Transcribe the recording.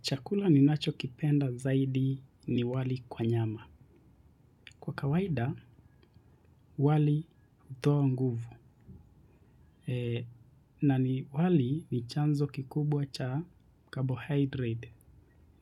Chakula ninacho kipenda zaidi ni wali kwa nyama. Kwa kawaida wali hutoa nguvu na wali ni chanzo kikubwa cha carbohydrate